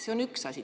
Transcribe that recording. See on üks asi.